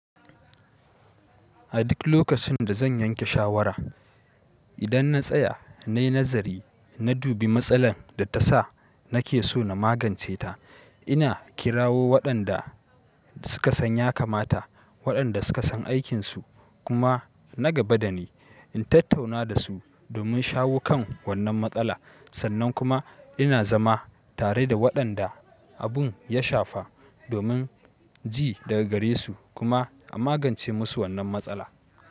A duk lokacin da zan yanke shawara, idan na tsaya, na yi nazari, na dubi matsalan da ta sa nake so na magance ta, ina kirawo waɗanda suka sanya kamata, waɗanda suka san aikinsu kuma na gaba da ni. In tattauna da su, domin shawo kan wannan matsala. Sannan kuma ina zama tare da waɗanda abun ya shafa domin ji, daga garesu kuma a magance musu wannan matsala.